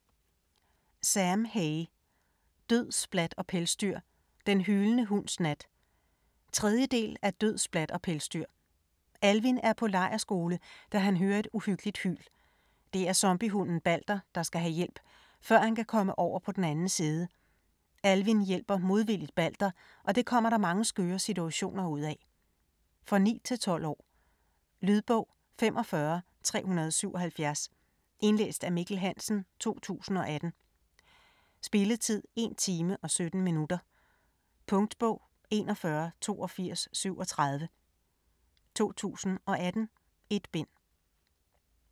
Hay, Sam: Død, splat og pelsdyr - den hylende hunds nat 3. del af Død, splat og pelsdyr. Alvin er på lejrskole, da han hører et uhyggeligt hyl. Det er zombie-hunden Balder, der skal have hjælp, før han kan komme over på den anden side. Alvin hjælper modvilligt Balder, og det kommer der mange skøre situationer ud af. For 9-12 år. Lydbog 45377 Indlæst af Mikkel Hansen, 2018. Spilletid: 1 time, 17 minutter. Punktbog 418237 2018. 1 bind.